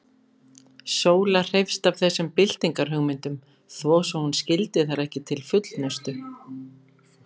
Sóla hreifst af þessum byltingarhugmyndum, þó svo hún skildi þær ekki til fullnustu.